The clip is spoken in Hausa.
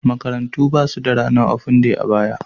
Makarantu ba su da ranar ofen day a baya.